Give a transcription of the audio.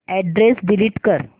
address delete कर